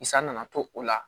San nana to o la